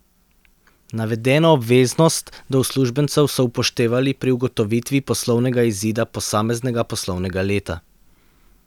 Navedeno obveznost do uslužbencev so upoštevali pri ugotovitvi poslovnega izida posameznega poslovnega leta.